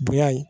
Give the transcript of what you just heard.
Bonya ye